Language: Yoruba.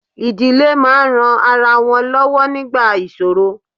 Ìdílé máa ń ran ara wọn lọ́wọ́ nígbà ìṣòro